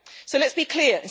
So let's be clear.